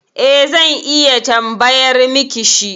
E, zan iya tambayar miki shi.